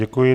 Děkuji.